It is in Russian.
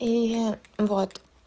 и я вот